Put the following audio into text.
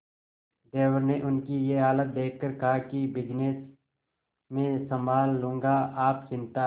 देवर ने उनकी ये हालत देखकर कहा कि बिजनेस मैं संभाल लूंगा आप चिंता